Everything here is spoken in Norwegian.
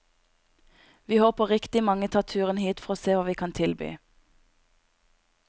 Vi håper riktig mange tar turen hit for å se hva vi kan tilby.